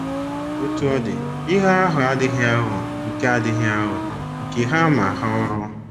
Otú ọ dị, ihe ahụ adịghị aghọ nke adịghị aghọ nke ha ma ha ọrụ.